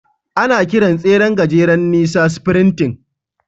Ana kiran tseren gajeren nisa "sprinting."